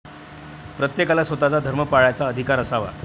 प्रत्येकाला स्वतःचा धर्म पाळायचा अधिकार असावा.